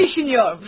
Düşünürdü.